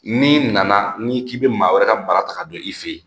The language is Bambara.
N'i nana n'i k'i bɛ maa wɛrɛ ka mara ta ka don i fɛ yen